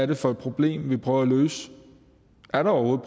det for et problem vi prøver at løse er der overhovedet